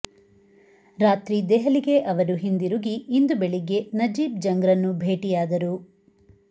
ರಾತ್ರಿ ದೆಹಲಿಗೆ ಅವರು ಹಿಂದಿರುಗಿ ಇಂದು ಬೆಳಿಗ್ಗೆ ನಜೀಬ್ ಜಂಗ್ರನ್ನು ಭೇಟಿಯಾದರು